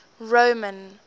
roman